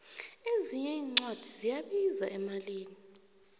ezinye incwadi ziyabiza emalini